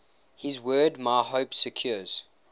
his word my hope secures